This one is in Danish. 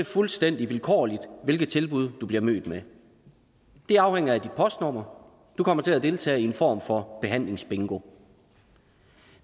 fuldstændig vilkårligt hvilke tilbud du bliver mødt med det afhænger af dit postnummer du kommer til at deltage i en form for behandlingsbingo